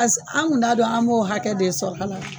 Pas an kun t'a dɔn an b'o hakɛ de sɔrɔ ala